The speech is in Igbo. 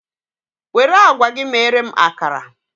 Were agwa gị mere m akara!